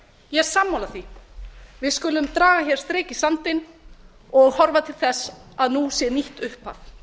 ég er sammála því við skulum draga strik í sandinn og horfa til þess að nú sé nýtt upphaf